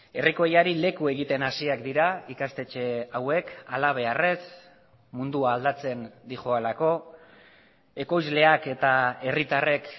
herrikoiari leku egiten hasiak dira ikastetxe hauek halabeharrez mundua aldatzen doalako ekoizleak eta herritarrek